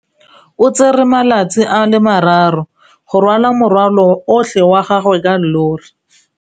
O tsere malatsi a le marraro go rwala morwalo otlhe wa gagwe ka llori.